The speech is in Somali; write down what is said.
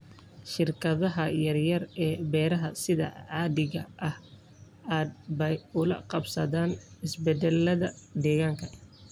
Shirkadaha yar yar ee beeraha sida caadiga ah aad bay ula qabsadaan isbeddellada deegaanka.